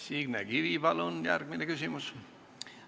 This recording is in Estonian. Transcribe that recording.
Signe Kivi, palun järgmine küsimus!